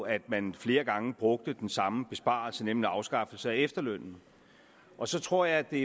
at man flere gange brugte den samme besparelse nemlig afskaffelse af efterlønnen og så tror jeg det